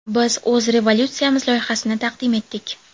Biz o‘z rezolyutsiyamiz loyihasini taqdim etdik.